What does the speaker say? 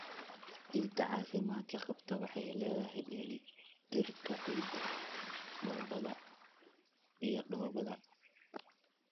Ciidda caafimaadka qabta waxay leedahay dheellitirka ciidda, dhoobada iyo dhoobada.